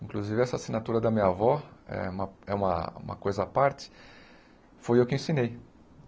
Inclusive essa assinatura da minha avó é uma é uma uma coisa à parte, foi eu que ensinei.